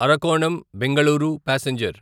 Arakkonam Bengaluru passenger